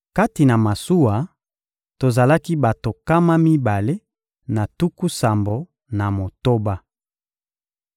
Kati na masuwa, tozalaki bato nkama mibale na tuku sambo na motoba.